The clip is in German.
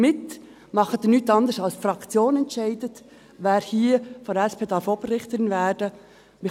Damit machen Sie nichts anderes, als dass die Fraktion entscheidet, wer hier von der SP Oberrichterin werden darf.